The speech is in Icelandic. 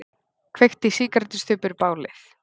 Kveikti sígarettustubbur bálið